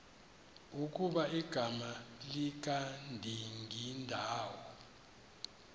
ukuba igama likadingindawo